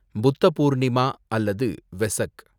புத்த பூர்ணிமா அல்லது வெசக்